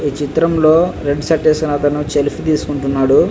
ఈ చిత్రంలో red shirt వేసుకున్న అతను సెలీఫీ తీస్కుంటున్నాడు.